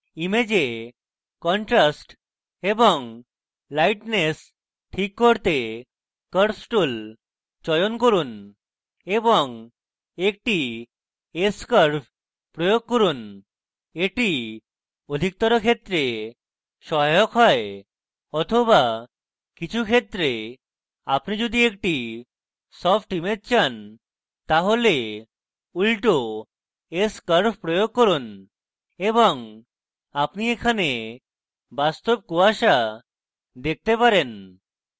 ইমেজের contrast এবং lightness ঠিক করতে curves tool চয়ন করুন এবং একটি s curves প্রয়োগ করুন এটি অধিকতর ক্ষেত্রে সহায়ক হয় বা কিছু ক্ষেত্রে apply যদি একটি সফ্ট image চান তাহলে উল্টো s curves প্রয়োগ করুন এবং apply এখানে বাস্তব কুয়াশা দেখতে পারেন